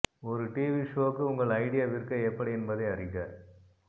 ஒரு டிவி ஷோவுக்கு உங்கள் ஐடியா விற்க எப்படி என்பதை அறிக